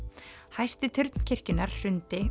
hæsti turn kirkjunnar hrundi